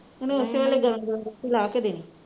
ਗਰਮ ਗਰਮ ਲਾਹ ਕੇ ਦੇਣੀ